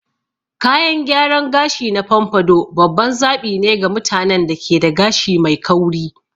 Kayan gyaran gashi na pompadour babban zaɓi ne ga mutanen da ke da gashi mai kauri.